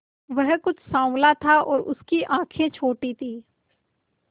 वह कुछ साँवला था और उसकी आंखें छोटी थीं